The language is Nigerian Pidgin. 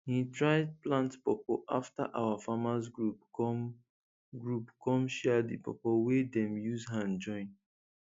he try plant pawpaw afta our farmers group come group come share di pawpaw wey dem use hand join